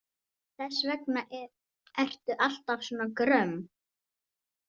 Þess vegna ertu alltaf svona gröm.